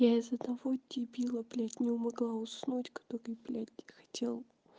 я из-за того дебила блять не могла уснуть который блять хотел